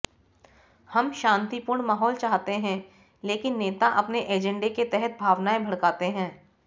हम शांतिपूर्ण माहौल चाहते हैं लेकिन नेता अपने एजेंडे के तहत भावनाएं भड़काते हैं